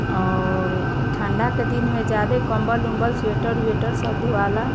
और ई ठंडा के दिन में ज़्यादे कम्बल उम्बल स्वेटर उएटर सब धुवाला।